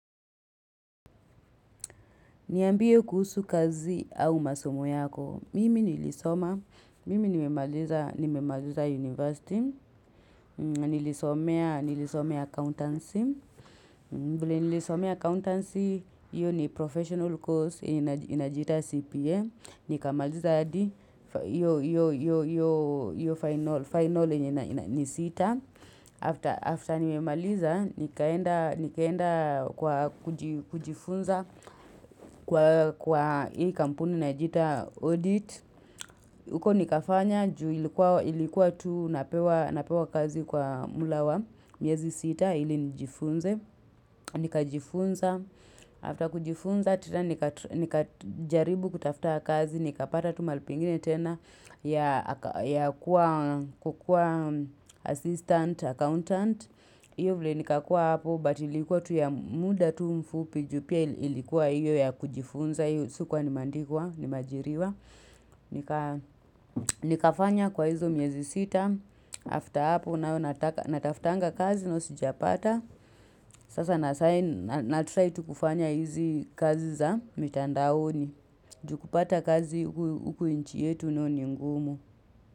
Niambie kuhusu kazi au masomo yako. Mimi nilisoma. Mimi nimemaliza nimemaliza university. Nilisomea accountancy. Vile nilisomea accountancy. Hiyo ni professional course. Inajiita CPA. Nikamaliza hadi hiyo hiyo final final yenye ni sita. After after nimemaliza. Nikaenda nikaenda kwa kujifunza kwa kwa hii kampuni inajiita Audit uko nikafanya juu ilikuwa ilikuwa tu napewa kazi kwa mula wa miezi sita ili nijifunze nikajifunza. After kujifunza tena nika nikajaribu kutafta kazi. Nikapata tu mahali pengine tena ya ya kukuwa assistant accountant. Iyo vile nikakuwa hapo but ilikuwa tu ya muda tu mfupi juu pia ilikuwa hiyo ya kujifunza hiyo sikuwa nimeandikwa nimeajiriwa nikafanya kwa hizo miezi sita after hapo nayo nataftanga kazi nayo sijapata sasa natry tu kufanya hizi kazi za mitandaoni juu kupata kazi huku inchi yetu nayo ni ngumu.